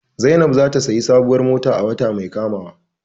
Zainab zata siya sabuwar mota a wata mai kamawa